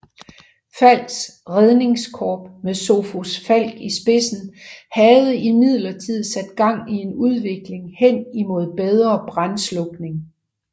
Falcks Redningskorps med Sophus Falck i spidsen havde imidlertid sat gang i en udvikling hen imod bedre brandslukning